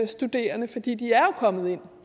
studerende fordi de jo er kommet ind